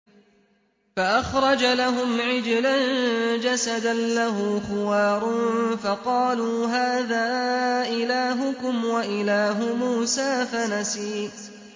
فَأَخْرَجَ لَهُمْ عِجْلًا جَسَدًا لَّهُ خُوَارٌ فَقَالُوا هَٰذَا إِلَٰهُكُمْ وَإِلَٰهُ مُوسَىٰ فَنَسِيَ